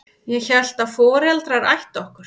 Ég hélt að foreldrar ættu okkur.